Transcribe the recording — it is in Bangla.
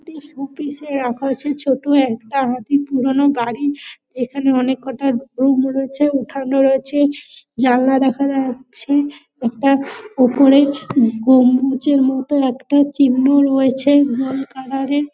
একটি শোপিস -এ রাখা হয়েছে ছোট একটা হাতি পুরনো বাড়ি যেখানে অনেক কটা রুম রয়েছে উঠান ও রয়েছে। জানলা দেখা যাচ্ছে। একটা ওপরে গম্বুজের মত একটা চিহ্ন রয়েছে গোল কালার -এর।